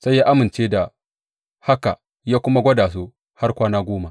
Sai ya amince da haka ya kuma gwada su har kwana goma.